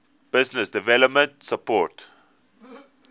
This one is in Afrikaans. business development support